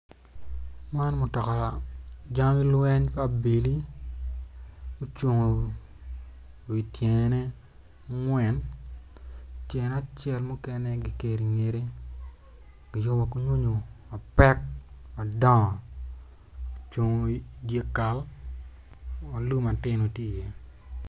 Man mutoka jami weny pa abili ocung wi tyene angwen tyene acel mukene kiketo ingette kiyubo ki nyonyo mapek madongo ocung idyekal ma lum matino tye iye.